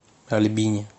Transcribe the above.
альбине